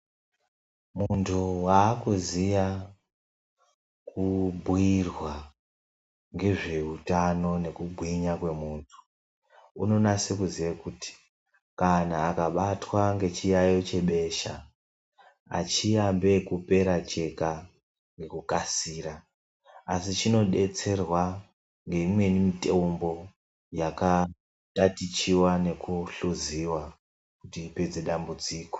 Muntu waakuziya kubhuirwa ngezveutano nekugwinya kwemuntu, unonase kuziya kuti kana akabatwa ngechiyayo chebesha, achiyambe kupera chega nekukasira. Asi chinodetserwa ngeimweni mitombo yakatatichiya nekuhluziwa kuti ipedze dambudziko.